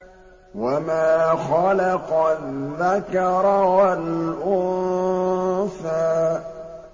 وَمَا خَلَقَ الذَّكَرَ وَالْأُنثَىٰ